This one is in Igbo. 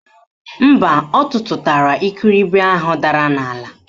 Mba, ọ tụtụtara ikiribi ahụ dara n'ala.